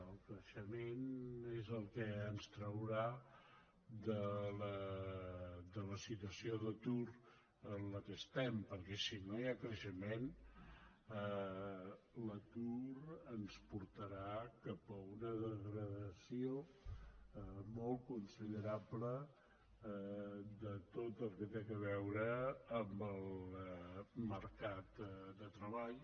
el creixement és el que ens traurà de la situació d’atur en què estem perquè si no hi ha creixement l’atur ens portarà cap a una degradació molt considerable de tot el que té a veure amb el mercat de treball